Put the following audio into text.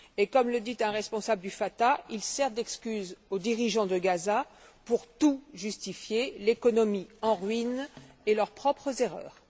Et comme le dit un responsable du Fatah, il sert d'excuse aux dirigeants de Gaza pour tout justifier l'économie en ruine et leurs propres erreurs.